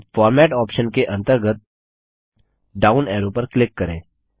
अब format option के अंतर्गत डाउन एरो पर क्लिक करें